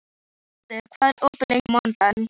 Ingvaldur, hvað er opið lengi á mánudaginn?